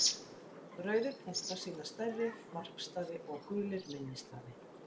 Rauðir punktar sýna stærri varpstaði og gulir minni staði.